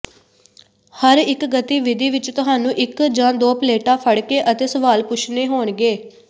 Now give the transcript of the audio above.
ਹਰ ਇੱਕ ਗਤੀਵਿਧੀ ਵਿੱਚ ਤੁਹਾਨੂੰ ਇੱਕ ਜਾਂ ਦੋ ਪਲੇਟਾਂ ਫੜਕੇ ਅਤੇ ਸਵਾਲ ਪੁੱਛਣੇ ਹੋਣਗੇ